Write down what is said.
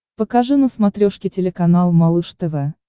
покажи на смотрешке телеканал малыш тв